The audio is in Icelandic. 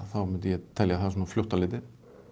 myndi ég telja það svona fljótt á litið